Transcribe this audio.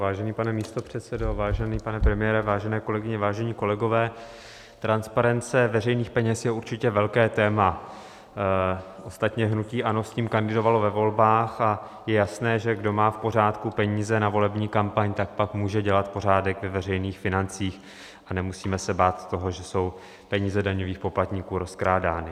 Vážený pane místopředsedo, vážený pane premiére, vážené kolegyně, vážení kolegové, transparence veřejných peněz je určitě velké téma, ostatně hnutí ANO s tím kandidovalo ve volbách a je jasné, že kdo má v pořádku peníze na volební kampaň, tak pak může dělat pořádek ve veřejných financích a nemusíme se bát toho, že jsou peníze daňových poplatníků rozkrádány.